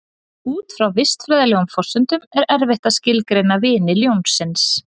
Út frá vistfræðilegum forsendum er erfitt að skilgreina vini ljónsins.